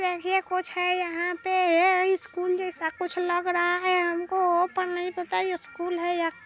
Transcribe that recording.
देखिए कुछ है यहाँ पे स्कूल जैसा कुछ लग रहा है हमको पर नहीं पता यह स्कूल है या --